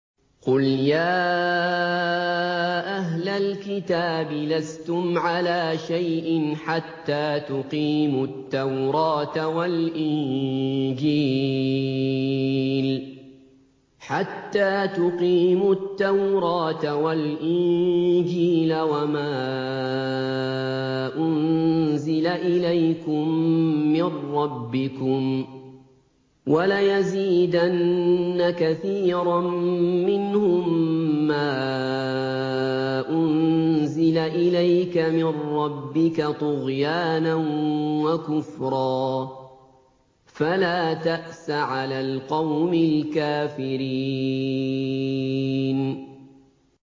قُلْ يَا أَهْلَ الْكِتَابِ لَسْتُمْ عَلَىٰ شَيْءٍ حَتَّىٰ تُقِيمُوا التَّوْرَاةَ وَالْإِنجِيلَ وَمَا أُنزِلَ إِلَيْكُم مِّن رَّبِّكُمْ ۗ وَلَيَزِيدَنَّ كَثِيرًا مِّنْهُم مَّا أُنزِلَ إِلَيْكَ مِن رَّبِّكَ طُغْيَانًا وَكُفْرًا ۖ فَلَا تَأْسَ عَلَى الْقَوْمِ الْكَافِرِينَ